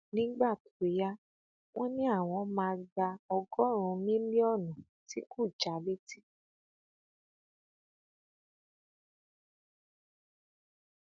nígbà tó yá wọn ní àwọn máa gba ọgọrùnún mílíọnù tí kò já létí